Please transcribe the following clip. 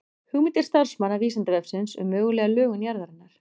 Hugmyndir starfsmanna Vísindavefsins um mögulega lögun jarðarinnar.